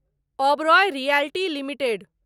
Oberoi realty limited